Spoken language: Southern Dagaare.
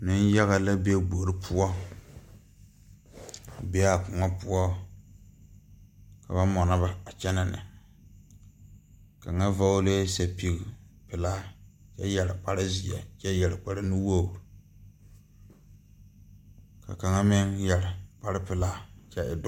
Neŋyaga la be gbore poɔ o bee aa kõɔ poɔ ka ba mɔnɔ ba a kyɛnɛ ne kaŋa vɔglɛɛ sɛpige pilaa kyɛ yɛre kpare zeɛ kyɛ yɛre kparenuwogre ka kaŋa maŋ yɛre kparepilaa kyɛ e doɔ.